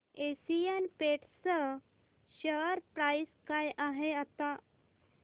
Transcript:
Asian Paints share price काय आहे आता